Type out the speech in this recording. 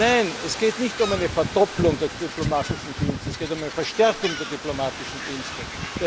Nein, es geht nicht um eine Verdoppelung der diplomatischen Dienste, es geht um eine Verstärkung der diplomatischen Dienste.